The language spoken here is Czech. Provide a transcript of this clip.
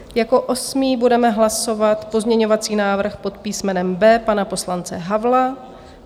Jako osmý budeme hlasovat pozměňovací návrh pod písmenem B pana poslance Havla.